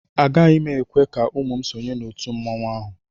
Agaghị m ekwe ka ụmụ m sonye n'òtù mmanwụ ahụ